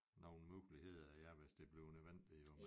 Nogen muligheder ja hvis det bliver nødvendig jo